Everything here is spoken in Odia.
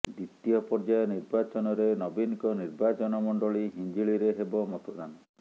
ଦ୍ୱିତୀୟ ପର୍ଯ୍ୟାୟ ନିର୍ବାଚନରେ ନବୀନଙ୍କ ନିର୍ବାଚନ ମଣ୍ଡଳୀ ହିଞ୍ଜିଳିରେ ହେବ ମତଦାନ